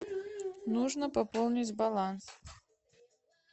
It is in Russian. нужно пополнить баланс